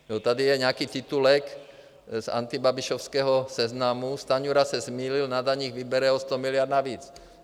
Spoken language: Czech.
Tady je nějaký titulek z antibabišovského Seznamu : Stanjura se zmýlil, na daních vybere o sto miliard navíc.